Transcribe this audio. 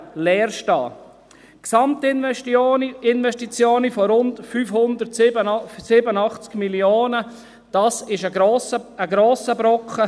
Die Gesamtinvestition von rund 587 Mio. Franken ist ein grosser Brocken.